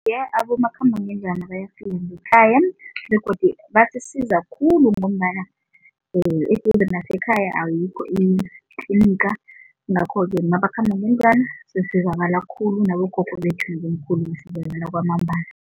Iye, abomakhambangendlwana ayafika ngekhaya begodu basisiza khulu ngombana eduze nakasekhaya ayikho itliniga yingakho-ke mabakhamba ngendlwana sizakala khulu nabogogo bethu nabomkhulu kwamambala.